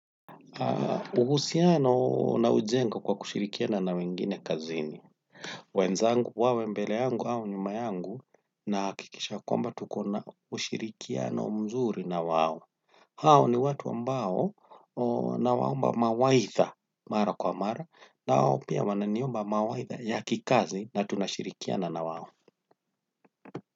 Ubusiano naujenga kwa kushirikiana na wengine kazini wenzangu wawe mbele yangu au nyuma yangu na hakikisha kwamba tukona ushirikiano mzuri na wao. Hao ni watu ambao nawaomba mawaidha mara kwa mara nao pia wananiomba mawaidha ya kikazi na tunashirikiana na wao.